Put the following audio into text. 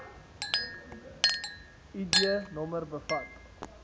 id nommer bevat